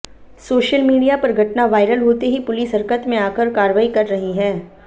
social media पर घटना viral होते ही पुलिस हरकत में आकर कार्रवाई कर रही है